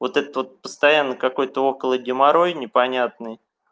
вот этот вот постоянный какой-то около геморрой непонятный